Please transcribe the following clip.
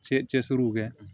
Cɛ cɛsiriw kɛ